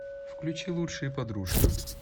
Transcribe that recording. включи лучшие подружки